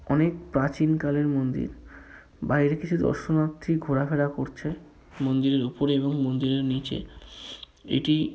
অনেক প্রাচীন কালের মন্দির বাইরে কিছু দর্শনার্থী ঘোরাফেরা করছে মন্দিরের ওপরে এবং মন্দিরের নীচে এটি--